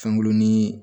Fɛngulon ni